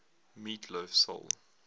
meat loaf soul